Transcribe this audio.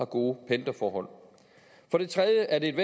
gode pendlerforhold for det tredje er det et